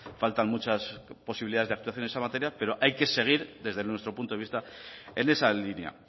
faltan muchas posibilidades de actuación en esa materia pero hay que seguir desde nuestro punto de vista en esa línea